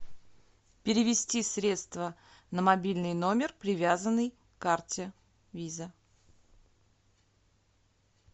перевести средства на мобильный номер привязанный к карте виза